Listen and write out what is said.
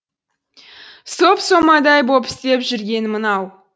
соп сомадай боп істеп жүргені мынау